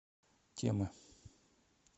темы